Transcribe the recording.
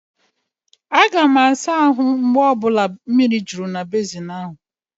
Aga m asa ahụ mgbe ọ bụla mmiri juru na bezin ahu.